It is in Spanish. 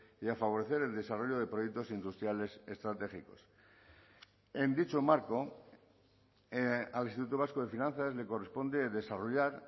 y a favorecer el desarrollo de proyectos industriales estratégicos en dicho marco al instituto vasco de finanzas le corresponde desarrollar